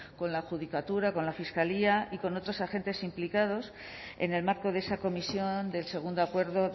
con la judicatura con la fiscalía y con otros agentes implicados en el marco de esa comisión del segundo acuerdo